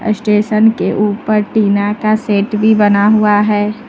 Station के ऊपर tin का शेड भी बना हुआ है।